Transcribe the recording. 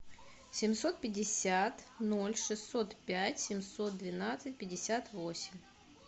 семьсот пятьдесят ноль шестьсот пять семьсот двенадцать пятьдесят восемь